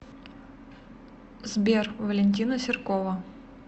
сбер валентина серкова